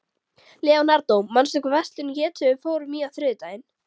Leonardó, manstu hvað verslunin hét sem við fórum í á þriðjudaginn?